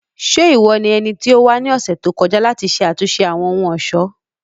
Ṣe iwọ ni ẹniti o wa ni ọsẹ to kọja lati ṣe atunṣe Awọn ohun-ọṣọ?